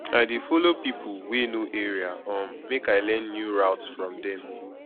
i dey folo pipo wey know area um make i learn new routes from dem